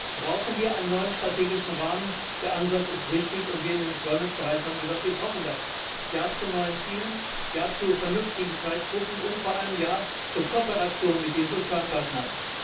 Jetzt brauchen wir einen neuen strategischen Rahmen, der Ansatz ist richtig, und wir im Beschäftigungsbereich haben gesagt Wir brauchen das Ja zu neuen Zielen, Ja zu vernünftigen Zeitpunkten und vor allem Ja zur Kooperation mit den Sozialpartnern.